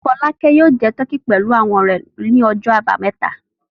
Fọlákẹ́ yóò jẹ tọkí pẹ̀lú àwọn ọ̀rẹ́ rẹ̀ lọ́jọ́ àbámẹ́ta.